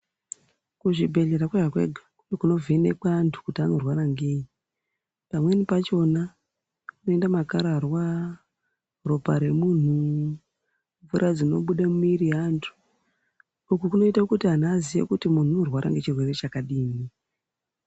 Kuzvi bhehlera kwega kwega kuno vhenekwa andu kuti ano rwara ngei pamweni pachona unoita makararwa ropa remunhu mvura dzino buda mumuviri ye andu uku kunoita kuti andu aziye kuti mundu ano rwara ngechi rwere chakadini.